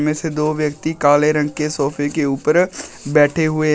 जैसे दो व्यक्ति काले रंग के सोफे के ऊपर बैठे हुए हैं।